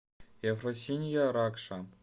ефросинья ракша